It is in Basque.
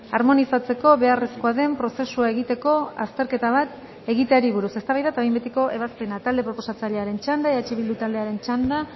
harmonizatzeko beharrezkoa den prozesua egiteko azterketa bat egiteari buruz eztabaida eta behin betiko ebazpena talde proposatzailearen txanda eh bildu taldearen txanda